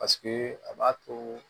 Paseke a b'a to